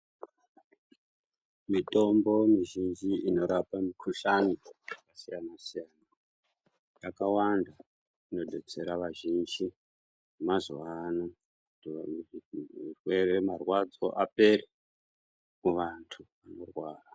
Mitombo mizhinji inorapa mikhuhlani yakasiyana siyana yakawanda inodetsera vazhinji vemazuwano kuti vaone...... zvirwere, marwadzo apere kuvantu vanorwara.